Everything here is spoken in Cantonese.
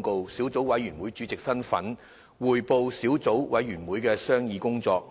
告》小組委員會主席身份，匯報小組委員會的商議工作。